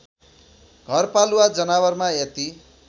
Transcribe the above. घरपालुवा जनावरमा यति